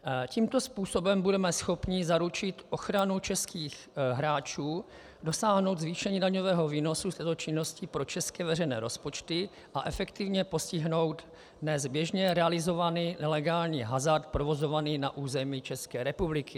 Tímto způsobem budeme schopni zaručit ochranu českých hráčů, dosáhnout zvýšení daňového výnosu z této činnosti pro české veřejné rozpočty, a efektivně postihnout dnes běžně realizovaný nelegální hazard provozovaný na území České republiky.